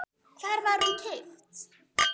Hvar var hún keypt?